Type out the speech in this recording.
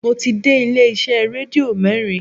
Mo ti dé ilé iṣẹ́ rédíò mẹ́rin